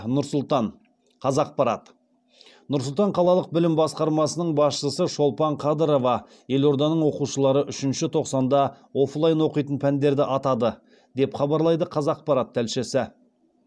нұр сұлтан қазақпарат нұр сұлтан қалалық білім басқармасының басшысы шолпан қадырова елорданың оқушылары үшінші тоқсанда оффлайн оқитын пәндерді атады деп хабарлайды қазақпарат тілшісі